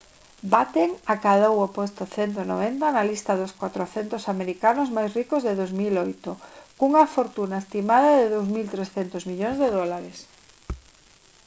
batten acadou o posto 190 na lista dos 400 americanos máis ricos de 2008 cunha fortuna estimada de 2300 millóns de dólares